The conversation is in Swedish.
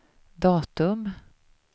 datum